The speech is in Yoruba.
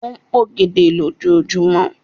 O ń p'ògèdè lojumọ